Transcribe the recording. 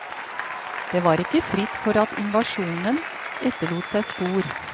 Det var ikke fritt for at invasjonen etterlot seg spor.